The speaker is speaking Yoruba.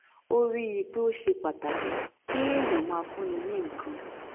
ó rí i pé ó ṣe pàtàkì kéèyàn máa fúnni ní nǹkan